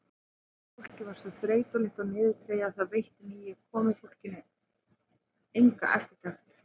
Fólkið var svo þreytulegt og niðurdregið að það veitti nýju komufólki enga eftirtekt.